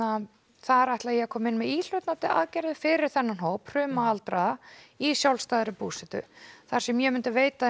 þar ætla ég að koma með íhlutandi aðgerðir fyrir þennan hóp hruma aldraða í sjálfstæðri búsetu þar sem ég myndi veita þeim